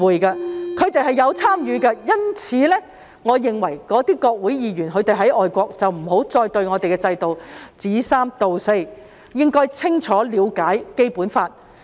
由於他們是有參與的，我認為外國的國會議員不要再對我們的制度說三道四，應要清楚了解《基本法》。